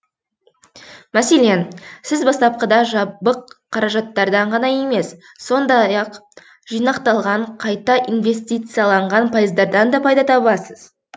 мәселен сіз бастапқыда жабық қаражаттардан ғана емес сондай ақ жинақталған қайта инвестицияланған пайыздардан да пайда табасыз